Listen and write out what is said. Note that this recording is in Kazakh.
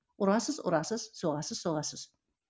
ұрасыз ұрасыз соғасыз соғасыз